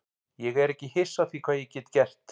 Ég er ekki hissa á því hvað ég get gert.